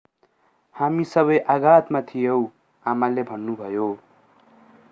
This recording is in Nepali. हामी सबै आघातमा थियौँ आमाले भन्नुभयो